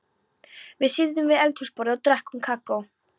Við sitjum við eldhúsborðið og drekkum kakó.